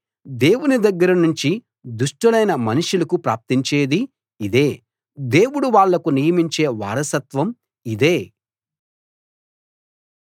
దేవుని దగ్గర నుంచి దుష్టులైన మనుషులకు ప్రాప్తించేది ఇదే దేవుడు వాళ్ళకు నియమించే వారసత్వం ఇదే